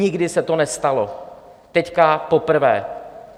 Nikdy se to nestalo, teď poprvé.